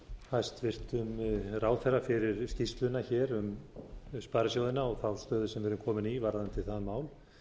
hæstvirtum ráðherra fyrir skýrsluna hér um sparisjóðina og stöðuna sem við erum komin í varðandi það mál